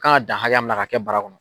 kan ka dan hakɛya min na k'a kɛ bara kɔnɔ.